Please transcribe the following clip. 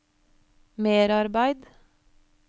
merarbeid